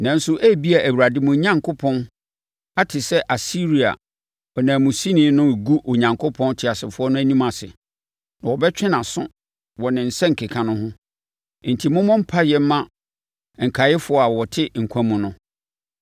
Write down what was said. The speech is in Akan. Nanso, ebia Awurade, mo Onyankopɔn ate sɛ Asiria ɔnanmusini no regu Onyankopɔn teasefoɔ no anim ase, na wɔbɛtwe nʼaso wɔ ne nsɛnkeka no ho. Enti mommɔ mpaeɛ mma nkaeɛfoɔ a wɔte nkwa mu no.”